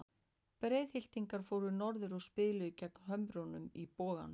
Breiðhyltingar fóru norður og spiluðu gegn Hömrunum í Boganum.